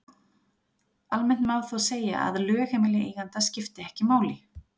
Almennt má þó segja að lögheimili eiganda skipti ekki máli.